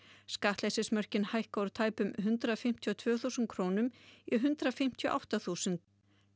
skattleysismörkin hækka úr tæpum hundrað fimmtíu og tvö þúsund krónum í hundrað fimmtíu og átta þúsund